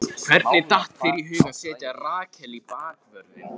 Hvernig datt þér í hug að setja Rakel í bakvörðinn?